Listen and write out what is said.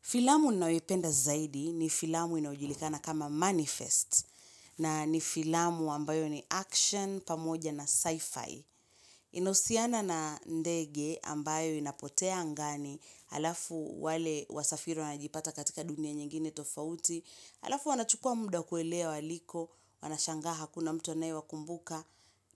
Filamu ninayoipenda zaidi ni filamu inayojulikana kama manifest na ni filamu ambayo ni action pamoja na sci-fi. Inahusiana na ndege ambayo inapotea angani alafu wale wasafiri wanajipata katika dunia nyingine tofauti, alafu wanachukua muda kuelewa waliko, wanashangaa hakuna mtu anaye wakumbuka,